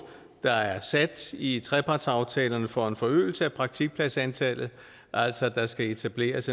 der er sat i trepartsaftalerne for en forøgelse af praktikpladsantallet altså at der skal etableres